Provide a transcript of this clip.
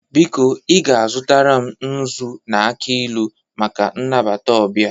Biko, i ga-azụtara m nzu na aki ilu maka inabata ọbịa